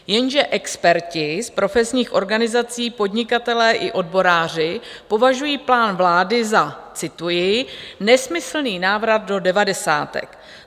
Jenže experti z profesních organizací, podnikatelé i odboráři považují plán vlády za - cituji: nesmyslný návrat do devadesátek.